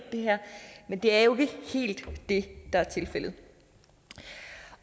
men det er jo ikke helt det der er tilfældet